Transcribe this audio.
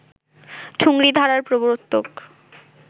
ঠুংরি ধারার প্রবর্তক